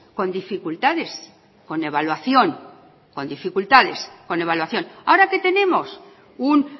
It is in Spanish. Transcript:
con dificultades con evaluación con dificultades con evaluación ahora qué tenemos un